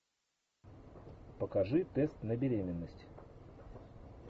покажи тест на беременность